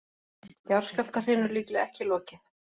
Jarðskjálftahrinu líklega ekki lokið